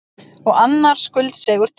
Og annar skuldseigur til.